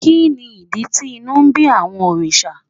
Kí ni ìdí tí inú ń bí àwọn òrìṣà?